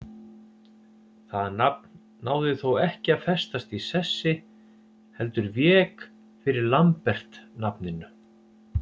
Það nafn náði þó ekki að festast í sessi heldur vék fyrir Lambert-nafninu.